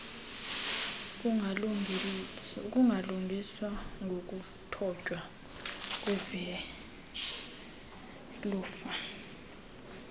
kungalungiswa ngokuthotywa kwevelufa